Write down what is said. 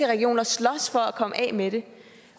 regioner slås for at komme af med det